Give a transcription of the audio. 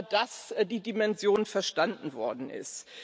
dass die Dimension verstanden worden ist.